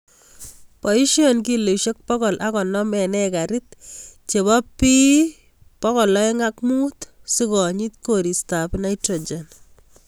Boisien kilosiek pokol ok konom en ekarit chebo P2O5 sikonyit koristab nitrogen;"